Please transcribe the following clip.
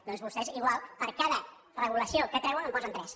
doncs vostès igual per cada regulació que treuen en posen tres